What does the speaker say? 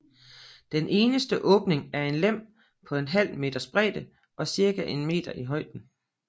Den eneste åbning er en lem på en halv meters bredde og cirka en meter i højden